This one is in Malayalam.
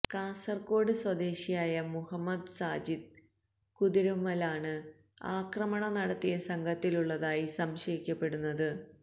കാസർകോഡ് സ്വദേശിയായ മുഹമ്മദ് സാജിദ് കുതിരുമ്മലാണ് ആക്രമണം നടത്തിയ സംഘത്തിലുള്ളതായി സംശയിക്കപ്പെടുന്നത്